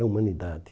É humanidade.